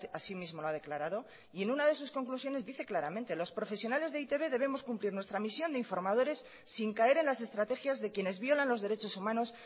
asimismo lo ha declarado y en una de sus conclusiones dice claramente los profesionales de e i te be debemos cumplir nuestra misión de informadores sin caer en las estrategias de quienes violan los derechos humanos